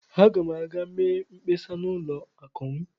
Aga m aga mee mkpesa na ụlọ akụ m.